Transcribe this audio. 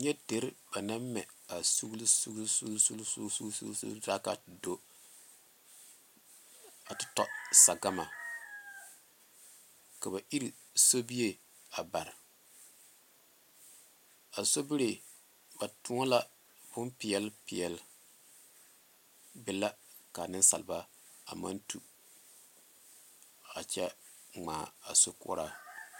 Nyɛ deri ba naŋ mɛ a suglisuglisuglisuglisuglisugli taa k,a te do a te tɔ sagama ka ba iri sobie a bare a sobiri ba toɔ la bompeɛle peɛle be la ka nensalba a maŋ tu a kyɛ ŋmaa a sokoɔraa.